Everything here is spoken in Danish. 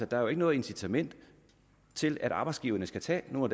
der jo ikke noget incitament til at arbejdsgiverne skal tage nogle